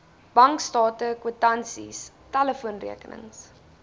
bankstate kwitansies telefoonrekenings